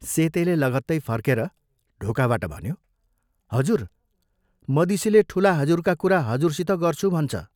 सेतेले लगतै फर्केर ढोकाबाट भन्यो, "हजुर, मदिसेले ठूला हजुरका कुरा हजुरसित गर्छु भन्छ।